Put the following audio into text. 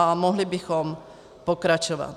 A mohli bychom pokračovat.